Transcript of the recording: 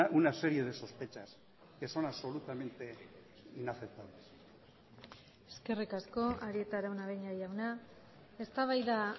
una serie de sospechas que son absolutamente inaceptables eskerrik asko arieta araunabeña jauna eztabaida